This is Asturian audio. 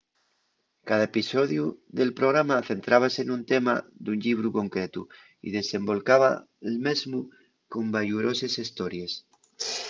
cada episodiu del programa centrábase nun tema d'un llibru concretu y desendolcaba'l mesmu con bayuroses hestories